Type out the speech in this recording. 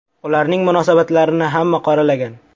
Ularning munosabatlarini hamma qoralagan.